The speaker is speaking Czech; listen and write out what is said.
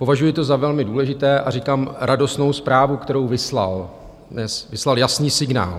Považuji to za velmi důležité a říkám radostnou zprávu, kterou vyslal, vyslal jasný signál.